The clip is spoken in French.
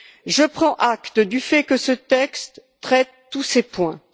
Je prends acte du fait que ce texte traite toutes ces questions.